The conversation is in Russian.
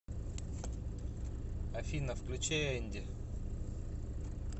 афина включи энди